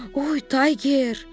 Oy, Tayger!